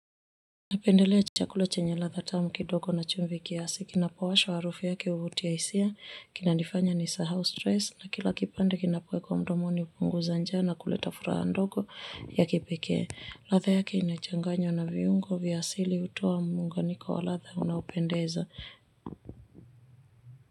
Napendelea chakula chenye latha tamu kidogo na chumvi kiasi kinapowashwa harufu yake huvutia hisia kinanifanya nisahau stress na kila kipande kinapoekwa mdomoni upunguza njaa na kuleta furaha ndogo ya kipekee. Latha yake inachanganywa na viungo vya asili utoa muunganyiko wa latha unaopendeza.